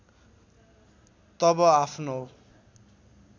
तब आफ्नो